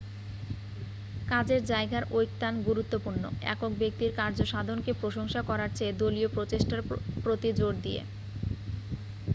কাজের যায়গার ঐকতান গুরুত্বপূর্ণ একক ব্যক্তির কার্যসাধনকে প্রশংসা করারচেয়ে দলীয় প্রচেষ্টার প্রতি জোর দিয়ে